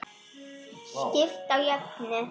Skipt á jöfnu.